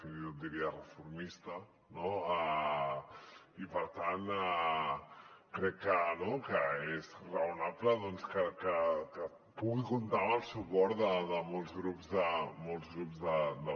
fins i tot en diria reformista no i per tant crec que és raonable doncs que pugui comptar amb el suport de molts grups de la cambra